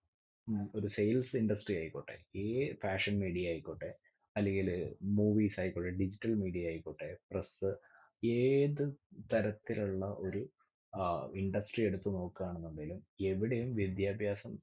ഒരു sales industry ആയിക്കോട്ടെ. ഏർ fashion media ആയിക്കോട്ടെ. അല്ലെങ്കിൽ movies ആയിക്കോട്ടെ. digital media ആയിക്കോട്ടെ. press ഏത് തരത്തിലുള്ള ഒരു ഏർ industry എടുത്ത് നോക്കുകയാണെന്നുണ്ടെങ്കിൽ എവിടെയും വിദ്യാഭ്യാസം